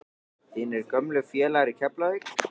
Þínir gömlu félagar í Keflavík?